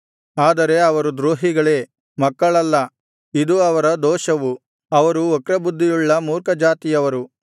ಆದರೆ ಅವರು ದ್ರೋಹಿಗಳೇ ಮಕ್ಕಳಲ್ಲ ಇದು ಅವರ ದೋಷವು ಅವರು ವಕ್ರಬುದ್ಧಿಯುಳ್ಳ ಮೂರ್ಖಜಾತಿಯವರು